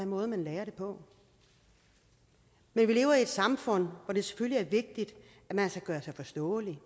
måde man lærer det på vi lever i et samfund hvor det selvfølgelig er vigtigt at man kan gøre sig forståelig